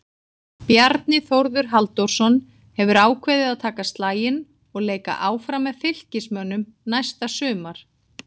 Bjarni Þórður Halldórsson hefur ákveðið að taka slaginn og leika áfram með Fylkismönnum næsta sumar.